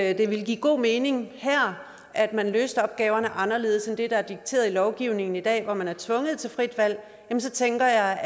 at det ville give god mening her at man løste opgaverne anderledes end det der er dikteret af lovgivningen i dag hvor man er tvunget til frit valg så tænker jeg